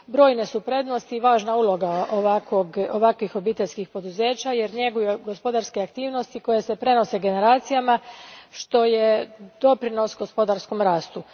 Brojne su prednosti i važna uloga ovakvih obiteljskih poduzeća jer njeguju gospodarske aktivnosti koje se prenose generacijama što je doprinos gospodarskom rastu.